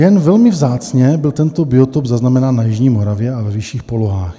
Jen velmi vzácně byl tento biotop zaznamenán na jižní Moravě a ve vyšších polohách.